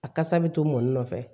A kasa bɛ to mɔnɔnin nɔfɛ